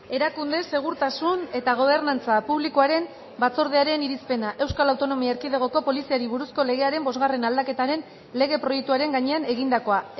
erakunde segurtasun eta gobernantza publikoaren batzordearen irizpena euskal autonomia erkidegoko poliziari buruzko legearen bosgarren aldaketaren legeproiektuaren gainean egindakoa